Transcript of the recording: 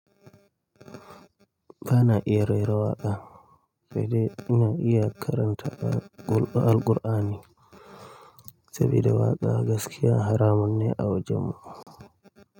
Ba na iya rera waƙa sai dai ina iya karanta Alqur'ani saboda waƙa gaskiya haramun ne a wajenmu.